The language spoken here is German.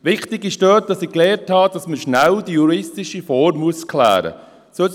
Wichtig dabei ist – das habe ich dabei gelernt –, dass die juristische Form schnell geklärt werden muss.